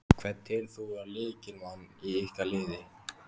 Hvern telur þú vera lykilmann í ykkar liði?